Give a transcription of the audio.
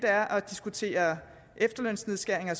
er at diskutere efterlønsnedskæringer